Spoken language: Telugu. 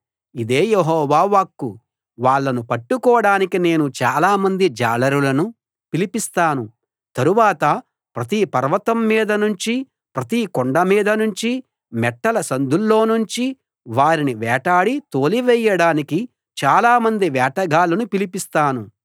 ఇదే యెహోవా వాక్కు వాళ్ళను పట్టుకోడానికి నేను చాలామంది జాలరులను పిలిపిస్తాను తరువాత ప్రతి పర్వతం మీద నుంచి ప్రతి కొండ మీద నుంచి మెట్టల సందుల్లోనుంచి వారిని వేటాడి తోలివేయడానికి చాలామంది వేటగాళ్ళను పిలిపిస్తాను